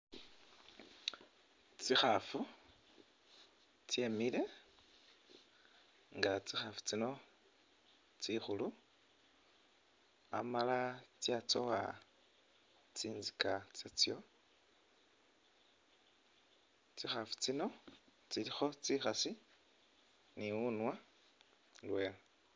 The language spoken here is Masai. Tsikhafu tsemile nga tsikhafu tsino tsikhulu Amala tsikhafu tsino tsatsowa tsintsika tsatso, tsikhafu tsino tsilikho tsikhasi ni wunywa indwela